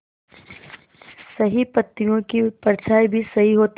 सही पत्तियों की परछाईं भी सही होती है